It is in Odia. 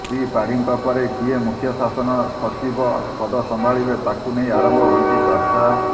ଶ୍ରୀ ପାଢ଼ୀଙ୍କ ପରେ କିଏ ମୁଖ୍ୟ ଶାସନ ସଚିବ ପଦ ସମ୍ଭାଳିବେ ତାହାକୁ ନେଇ ଆରମ୍ଭ ହୋଇଛି ଚର୍ଚ୍ଚା